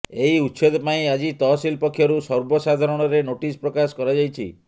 ଏହି ଉଛେଦ ପାଇଁ ଆଜି ତହସିଲ ପକ୍ଷରୁ ସର୍ବସାଧାରଣରେ ନୋଟିସ୍ ପ୍ରକାଶ କରାଯାଇଛି